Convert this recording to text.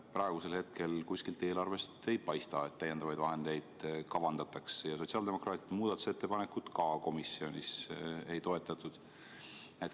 Praegu ei paista eelarves kuskil, et lisavahendeid kavandataks, ja sotsiaaldemokraatide muudatusettepanekut komisjonis ka ei toetatud.